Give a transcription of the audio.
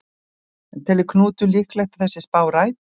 En telur Knútur líklegt að þessi spá rætist?